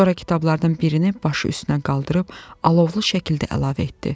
Sonra kitablardan birini başı üstünə qaldırıb alovlu şəkildə əlavə etdi.